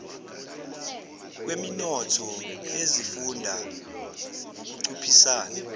kweminotho yezifunda ngukunciphisa